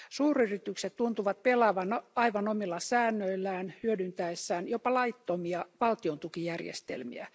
Suuryritykset tuntuvat pelaavan aivan omilla säännöillään hyödyntäessään jopa laittomia valtion tukijärjestelmiä.